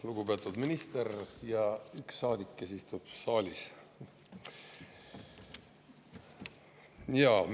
Lugupeetud minister ja üks saadik, kes istub saalis!